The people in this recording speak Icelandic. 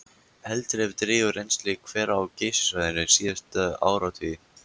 Heldur hefur dregið úr rennsli hvera á Geysissvæðinu síðustu áratugi.